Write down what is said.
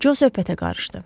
Co söhbətə qarışdı.